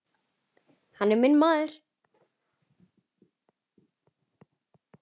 Hann er minn maður.